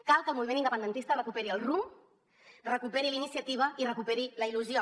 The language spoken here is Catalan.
cal que el moviment independentista recuperi el rumb recuperi la iniciativa i recuperi la il·lusió